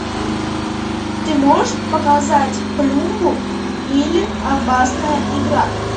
ты можешь показать плюмбум или опасная игра